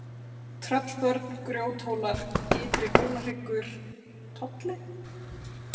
Tröllbörn, Grjóthólar, Ytri-Hólahryggur, Tolli